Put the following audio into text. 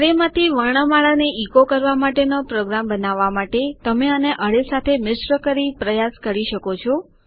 અરેમાંથી વર્ણમાળાને ઇકો કરવા માટેનો પ્રોગ્રામ બનાવવા માટે તમે આને અરે સાથે મિશ્ર કરી પ્રયાસ કરી શકો છો